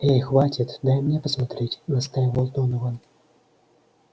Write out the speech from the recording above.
эй хватит дай мне посмотреть настаивал донован